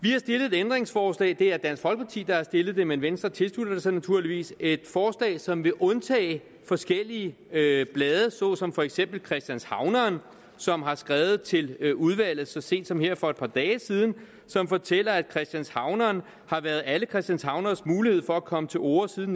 ændringsforslag det er dansk folkeparti der har stillet det men venstre tilslutter sig naturligvis et forslag som vil undtage forskellige det er blade såsom for eksempel christianshavneren som har skrevet til udvalget så sent som her for et par dage siden og som fortæller at christianshavneren har været alle christianshavneres mulighed for at komme til orde siden